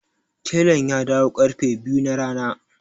Telan ya dawo ƙarfe biyu na rana.